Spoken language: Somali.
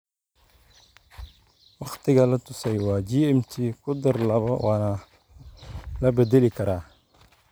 Wakhtiga la tusay waa GMT kudaar labaa waana la bedeli karaa.